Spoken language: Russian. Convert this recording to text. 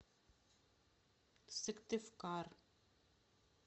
сыктывкар